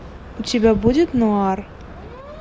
у тебя будет нуар